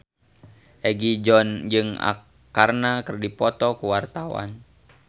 Egi John jeung Arkarna keur dipoto ku wartawan